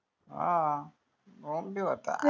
हान ओम बी होता